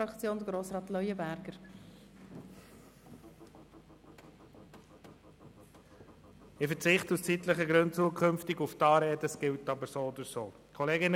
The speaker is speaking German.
Nun haben die Fraktionen das Wort, zuerst Grossrat Leuenberger für die BDP-Fraktion.